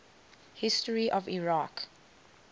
history of iraq